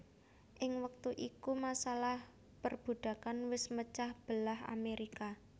Ing wektu iku masalah perbudakan wés mecah belah Amerika